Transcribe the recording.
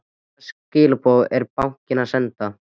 Hvaða skilaboð er bankinn að senda?